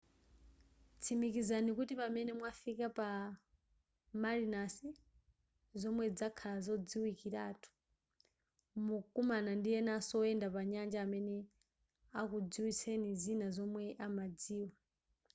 tsikimizani kuti pamene mwafika pa marinas zonse zikhala zodziwikilatu mukumana ndi enanso oyenda pa nyanja amene akudziwitseni zina zomwe amadziwa